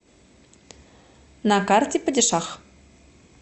на карте падишах